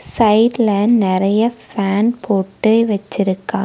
சைடுல நெறைய ஃபேன் போட்டு வெச்சிருக்காங்--